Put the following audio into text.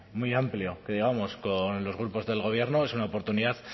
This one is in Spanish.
muy amplio que digamos con los grupos del gobierno es una oportunidad